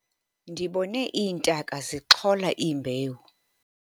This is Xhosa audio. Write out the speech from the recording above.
ndibone iintaka zixhola imbewu